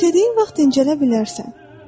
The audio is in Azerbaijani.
İstədiyin vaxt dincələ bilərsən.